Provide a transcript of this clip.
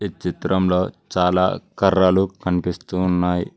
ఈ చిత్రంలో చాలా కర్రలు కనిపిస్తున్నాయి.